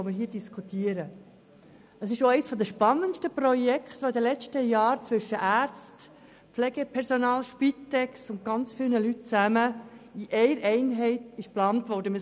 Es handelt sich dabei auch um eines der spannendsten Projekte, das in den vergangenen Jahren mit Ärzten, Pflegepersonal, Spitex und ganz vielen anderen Personen in einer Einheit geplant worden ist.